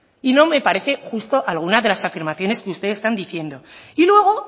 y no me parece justo algunas de las afirmaciones que ustedes están diciendo y luego